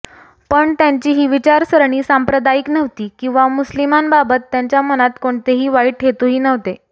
पण त्यांची ही विचारसरणी सांप्रदायिक नव्हती किंवा मुस्लिमांबाबत त्यांच्या मनात कोणतेही वाईट हेतूही नव्हते